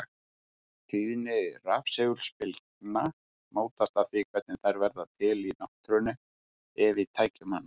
Tíðni rafsegulbylgna mótast af því hvernig þær verða til í náttúrunni eða í tækjum manna.